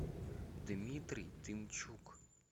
дмитрий тымчук